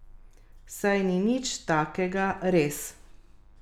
Saj ni nič takega, res.